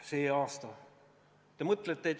See aasta.